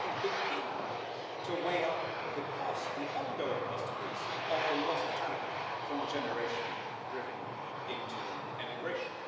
How can you begin to weigh up the ongoing cost to Greece of the lost talent from the generation driven into emigration?